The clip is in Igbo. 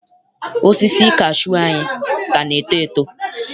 Osisi kashuu anyị ka na-eto eto.